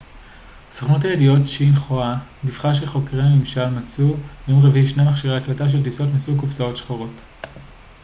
סוכנות הידיעות שינחואה דיווחה שחוקרי הממשל מצאו ביום רביעי שני מכשירי הקלטה של טיסות מסוג קופסאות שחורות